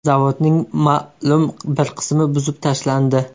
Zavodning ma’lum bir qismi buzib tashlandi.